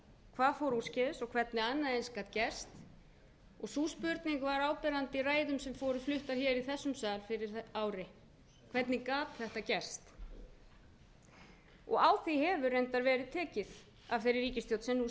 hvað fór úrskeiðis og hvernig annað eins gat gerst og sú spurning var áberandi í ræðum sem voru fluttar í þessum sal fyrir ári hvernig gat þetta gerst á því hefur reyndar verið tekið af þeirri ríkisstjórn sem nú